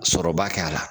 Sɔrɔba kɛ a la